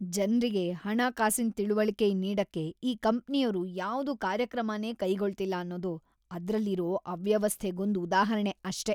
ಜನ್ರಿಗೆ ಹಣಕಾಸಿನ್ ತಿಳಿವಳಿಕೆ ನೀಡಕ್ಕೆ ಈ ಕಂಪ್ನಿಯೋರು ಯಾವ್ದೂ ಕಾರ್ಯಕ್ರಮನೇ ಕೈಗೊಳ್ತಿಲ್ಲ ಅನ್ನೋದು ಅದ್ರಲ್ಲಿರೋ ಅವ್ಯವಸ್ಥೆಗೊಂದ್‌ ಉದಾಹರ್ಣೆ ಅಷ್ಟೇ.